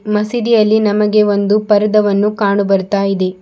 ಮಸೀದಿಯಲ್ಲಿ ನಮಗೆ ಒಂದು ಪರ್ದವನ್ನು ಕಾಣು ಬರ್ತಾ ಇದೆ.